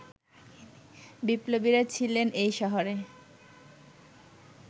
বিপ্লবীরা ছিলেন এই শহরে